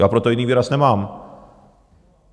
Já pro to jiný výraz nemám.